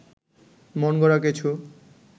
মনগড়া কিছু